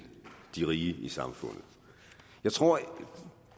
de rige i samfundet jeg tror